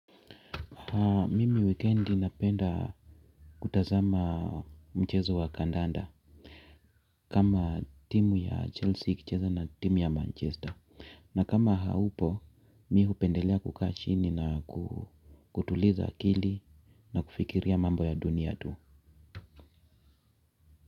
Mimi wikendi napenda kutazama mchezo wa kandanda kama timu ya Chelsea iki cheza na timu ya Manchester. Na kama haupo, mi hupendelea kukaa chini na kutuliza akili na kufikiria mambo ya dunia tu.